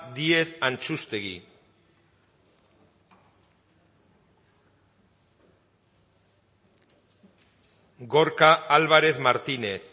díez antxustegi gorka álvarez martínez